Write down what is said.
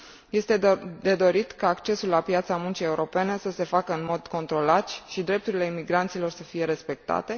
Este de dorit ca accesul la piața muncii europene să se facă în mod controlat și drepturile imigranților să fie respectate